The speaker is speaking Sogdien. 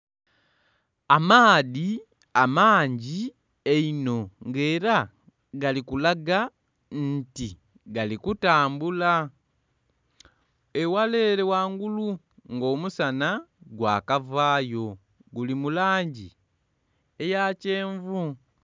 Amaadhi amangi einho nga era gali kulaga nti gali kutambula. Ewala ere ghangulu nga omusana gwa kavayo guli mu langi eya kyenvu